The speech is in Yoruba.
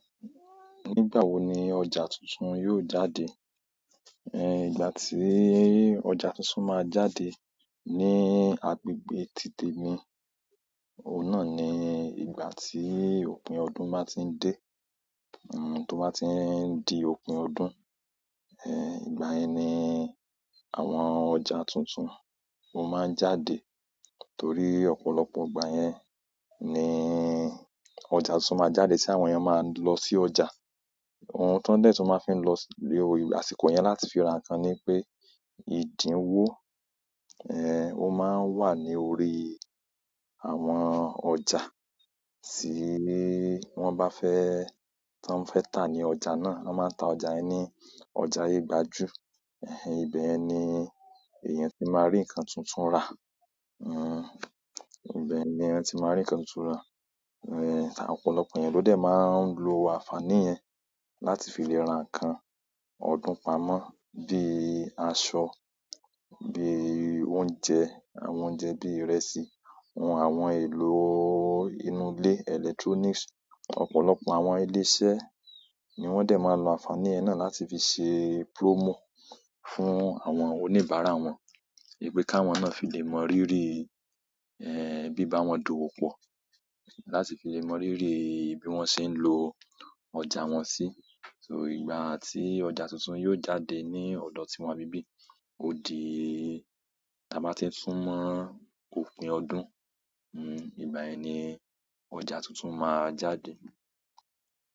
Nígbà wo ni ọjà tuntun yóò jáde? Ẹ̀. Ìgbà tíì ọ̀jà tuntun máa jáde ní agbègbè títè mi, o náà ni ìgbà tí òpin ọdún báa ti n dé. Hmm tó bá ti n di òpin ọdún, ẹ́ ìgbà yẹ́n ni àwọn ọ̀jà tuntun máa jáde. Nítorí ọ̀pọ̀lọpọ̀ ìgbà yẹn níí ọjà túntùn máa jáde, tí àwọn èèyàn máa lọ sí ọjà. Ohun tó dé tun máa fí ń lọ sí ibi àsìkò yẹn láti fi ra nǹkan ni pé ìdíwó, ẹ́ o máa ń wà ní orí àwọn ọjà. Tí wọ́n bá fẹ́, tó ń fẹ́ tà ní ọjà náà, wọ́n máa ń ta ọjà yẹn ní ọjà ayegbàju. Ẹ̀ẹ́ ìbẹ̀yen ni èèyàn tí máa rí nǹkan túntùn rà. Hmm ìbẹ̀ ni ẹni tí máa rí nǹkan túntùn ra. Ẹ̀ẹ́ ọ̀pọ̀lọpọ̀ èèyàn ló dé máa ń lo àǹfàní yẹn láti fi lè ra nǹkan. Ọdún pamọ́ bí i aṣọ, bí i oúnjẹ, àwọn oúnjẹ bí ìrẹsì, àwọn ohun èlò inú ilé, electronics. Ọ̀pọ̀lọpọ̀ àwọn ilé iṣẹ́ ni wọ́n dé máa ń lo àǹfàní yẹn náà láti fi ṣe promo fún àwọn oníbàárà wọn. Wípé káwọn náà fi lè mọ rírì ẹ́ bíbá wọn dowó pọ̀. Láti fi lè mọ rírì bí wọ́n ṣe ń lo ọ̀jà wọn sí. So ìgbà tí ọjà tuntun yóò jáde ní ọ̀dọ̀ tí wọn bí bí, ó di tí a bá ti tin sumọ òpin ọdún, hmm ìgbà yẹ́n ni ọjà tuntun máa jáde.